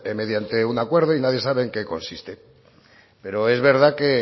mediante un acuerdo y nadie sabe en qué consiste pero es verdad que